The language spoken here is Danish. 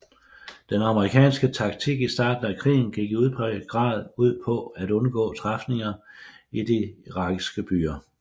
Den amerikanske taktik i starten af krigen gik i udpræget grad ud på at undgå træfninger i de irakiske byer